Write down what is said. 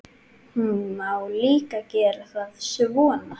Má líka gera það svona